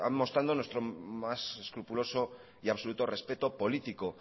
comenzar mostrando nuestro más escrupuloso y absoluto respeto político